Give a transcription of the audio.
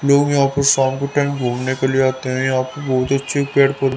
लोग यहां पे शाम के टाइम घूमने के लिए आते हैं यहां पे बहुत अच्छे पेड़ पौ--